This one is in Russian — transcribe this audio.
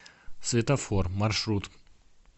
светофор маршрут